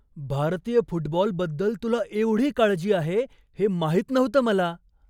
भारतीय फुटबॉलबद्दल तुला एवढी काळजी आहे हे माहित नव्हतं मला.